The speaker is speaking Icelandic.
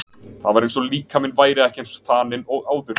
Það var eins og líkaminn væri ekki eins þaninn og áður.